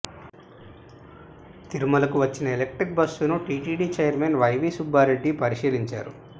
తిరుమలకు వచ్చిన ఎలక్ట్రిక్ బస్సును టిటిడి చైర్మన్ వైవి సుబ్బారెడ్డి పరిశీలించారు